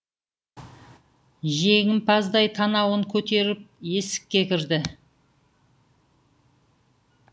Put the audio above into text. жеңімпаздай танауын көтеріп есікке кірді